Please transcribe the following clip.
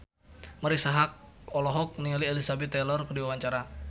Marisa Haque olohok ningali Elizabeth Taylor keur diwawancara